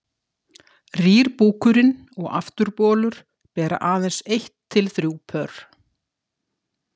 rýr búkurinn og afturbolur bera aðeins eitt til þrjú pör